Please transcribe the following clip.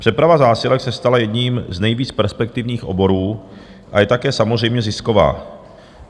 Přeprava zásilek se stala jedním z nejvíc perspektivních oborů a je také samozřejmě zisková.